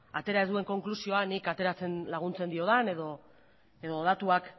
atera duen konklusioan nik ateratzen laguntzen diodan edo datuak